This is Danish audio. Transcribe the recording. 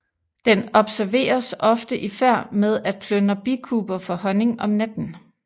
Den observeres ofte i færd med at plyndre bikuber for honning om natten